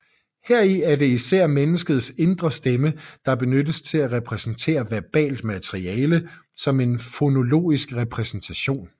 Heri er det især menneskets indre stemme der benyttes til at repræsentere verbalt materiale som en fonologisk repræsentation